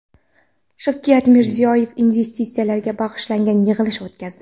Shavkat Mirziyoyev investitsiyalarga bag‘ishlangan yig‘ilish o‘tkazdi.